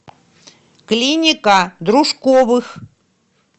клиника дружковых